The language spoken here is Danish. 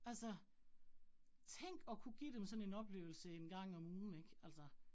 Altså tænk at kunne give dem sådan en oplevelse 1 gang om ugen ik altså